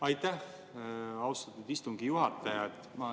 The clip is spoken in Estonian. Aitäh, austatud istungi juhataja!